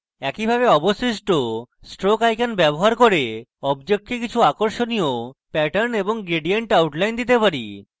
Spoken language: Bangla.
একইভাবে আমরা অবশিষ্ট stroke icons ব্যবহার করতে পারি এবং আমাদের অবজেক্টকে কিছু আকর্ষণীয় প্যাটার্ন এবং gradient outlines দিতে পারি